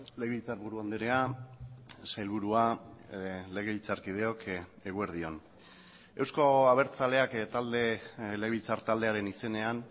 legebiltzarburu andrea sailburua legebiltzarkideok eguerdi on euzko abertzaleak talde legebiltzar taldearen izenean